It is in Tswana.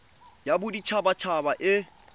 ya bodit habat haba e